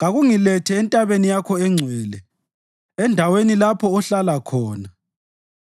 kakungilethe entabeni yakho engcwele, endaweni lapho ohlala khona.